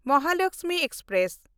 Mahalaxmi express